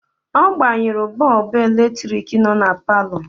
Ọ gbanyụrụ bọọbụ eletrik nọ na palọ.